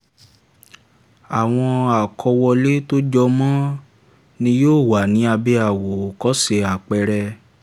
àwọn àkówọlé tó jọ mọ ni yóò wà ní abẹ́ àwòṣe àpẹẹrẹ.